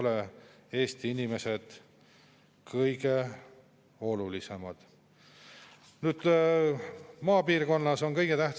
See näitab seda, et inimesed on ennast juba tööle jõudnud seada ja oma elu planeerinud, ning praeguse tulumaksu 10%-lise tõstmisega jääb neile ikkagi raha veel vähem kätte.